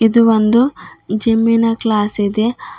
ಇದು ಒಂದು ಜಿಮ್ಮಿನ ಕ್ಲಾಸ್ ಇದೆ.